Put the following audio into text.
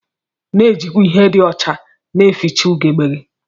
Na ejikwa ihe di ọcha na eficha ugegbe gi.